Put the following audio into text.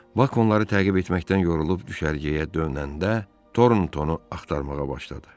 Bak onları təqib etməkdən yorulub düşərgəyə dönəndə Torntonu axtarmağa başladı.